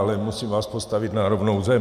Ale musím vás postavit na rovnou zem.